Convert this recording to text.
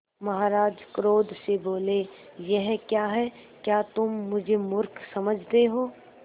महाराज क्रोध से बोले यह क्या है क्या तुम मुझे मुर्ख समझते हो